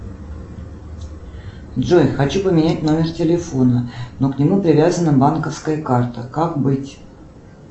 джой хочу поменять номер телефона но к нему привязана банковская карта как быть